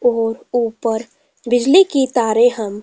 और ऊपर बिजाली की तारें हम --